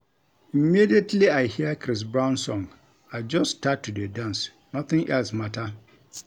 Immediately I hear Chris Brown song I just start to dey dance nothing else matter